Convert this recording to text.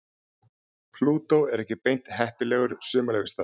Plútó er ekki beint heppilegur sumarleyfisstaður.